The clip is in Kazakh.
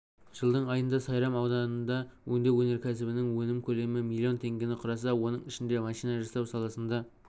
жылдың айында сайрам ауданында өңдеу өнеркәсібінің өнім көлемі миллион теңгені құраса оның ішінде машина жасау саласында